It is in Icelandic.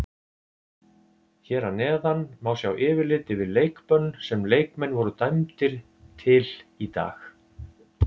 Hér að neðan má sjá yfirlit yfir leikbönn sem leikmenn voru dæmdir til í dag.